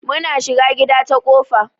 Muna shiga gida ta kofa.